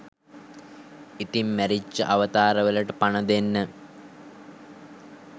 ඉතිං මැරිච්ච අවතාර වලට පණ දෙන්න